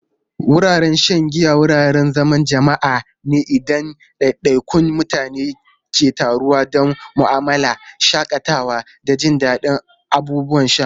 Wuraren shan giya wuraren zaman jama'a ne inda ɗaiɗaikun mutane ke taruwa don mu'amala, shakatawa, da jin daɗin abubuwan sha.